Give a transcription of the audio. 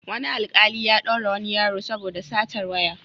Wani alƙali ya ɗaure wani yaro saoda satar waya.